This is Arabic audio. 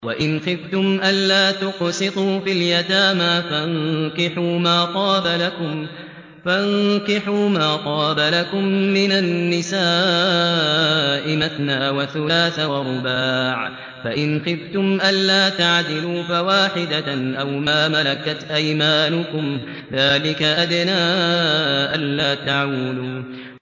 وَإِنْ خِفْتُمْ أَلَّا تُقْسِطُوا فِي الْيَتَامَىٰ فَانكِحُوا مَا طَابَ لَكُم مِّنَ النِّسَاءِ مَثْنَىٰ وَثُلَاثَ وَرُبَاعَ ۖ فَإِنْ خِفْتُمْ أَلَّا تَعْدِلُوا فَوَاحِدَةً أَوْ مَا مَلَكَتْ أَيْمَانُكُمْ ۚ ذَٰلِكَ أَدْنَىٰ أَلَّا تَعُولُوا